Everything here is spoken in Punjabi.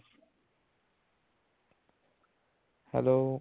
hello